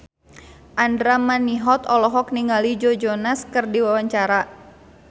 Andra Manihot olohok ningali Joe Jonas keur diwawancara